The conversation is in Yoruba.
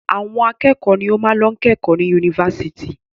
Àwọn akẹ́kọ̀ọ́ ni ó máa ń lọ kẹ́kọ̀ọ́ ní yunifásitì.